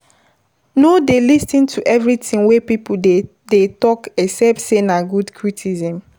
No dey lis ten to everything wey pipo dey dey talk except sey na good criticism